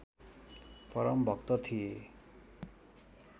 परम भक्त थिए